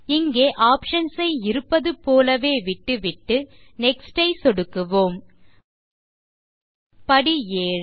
இங்கே ஆப்ஷன்ஸ் ஐ இருப்பது போலவே விட்டுவிட்டு நெக்ஸ்ட் ஐ சொடுக்குவோம் படி 7